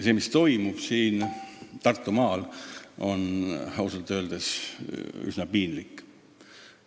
See, mis toimub Tartumaal, on ausalt öeldes üsna piinlik.